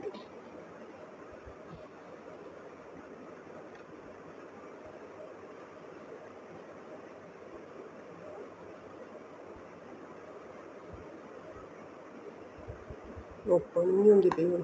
ਆਪਾਂ ਨੂੰ ਨੀ ਆਉਂਦੀ ਕਈ ਵਾਰ